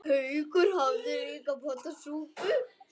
Haukur hafði líka pantað súpu.